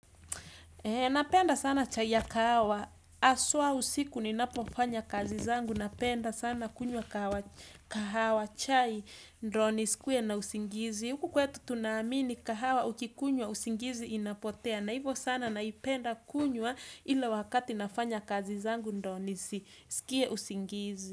Napenda sana chai ya kahawa. Haswa usiku ninapofanya kazi zangu. Napenda sana kunywa kahawa. Chai ndio nisikuwe na usingizi. Huku kwetu tunaamini kahawa ukikunywa usingizi inapotea. Na hivyo sana naipenda kunywa ile wakati nafanya kazi zangu ndio nisisikie usingizi.